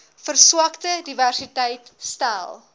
verswakte diversiteit stel